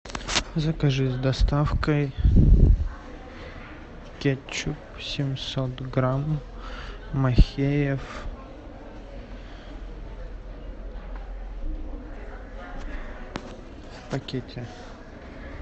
закажи с доставкой кетчуп семьсот грамм махеев в пакете